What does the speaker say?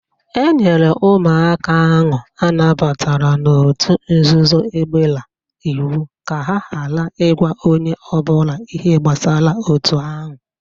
E nyere ụmụaka ahụ a nabatara n'otu nzuzo egbela iwu ka ha ghara ịgwa onye ọbụla ihe gbasara otu ahụ